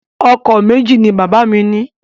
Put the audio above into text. Ọkọ̀ méjì ni bàbá mi ní.